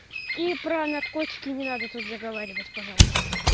и про наркотики не надо тут заговаривать пожалуйста